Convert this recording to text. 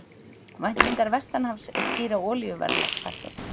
Væntingar vestanhafs skýra olíuverðshækkun